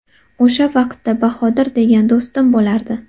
O‘sha vaqtda Bahodir degan do‘stim bo‘lardi.